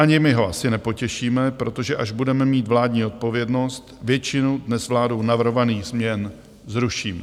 Ani my ho asi nepotěšíme, protože až budeme mít vládní odpovědnost, většinu, dnes vládou navrhovaných změn, zrušíme.